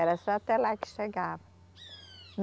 Era só até lá que chegava.